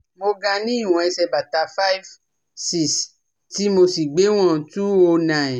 Mo ga ní ìwọn ẹsẹ̀ bàtà five six tí mosì gbéwọ̀n two o nine